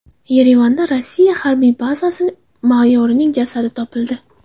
Yerevanda Rossiya harbiy bazasi mayorining jasadi topildi.